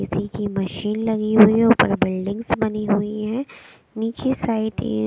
किसी की मशीन लगी हुई है ऊपर बिल्डिंग्स बनी हुई है नीचे साइड यह--